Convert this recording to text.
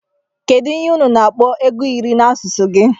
kedu ihe unu na akpọ ego iri na asụsụ gi?